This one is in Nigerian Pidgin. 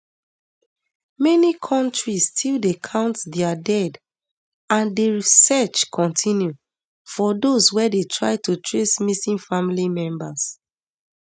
many kontris still dey count dia dead and di search continue for those wey dey try to trace missing family members